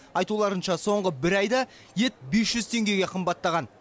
айтуларынша соңғы бір айда ет бес жүз теңгеге қымбаттаған